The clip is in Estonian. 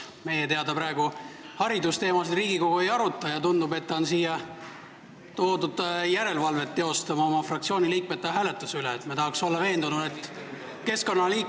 Meie teada praegu Riigikogu haridusteemasid ei aruta ja tundub, et ta on siia toodud oma fraktsiooni liikmete hääletuse üle järelevalvet teostama.